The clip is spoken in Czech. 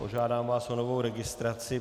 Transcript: Požádám vás o novou registraci.